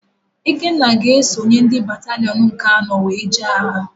Ikenna ga-esonye ndị batalịọn nke anọ wee jee agha.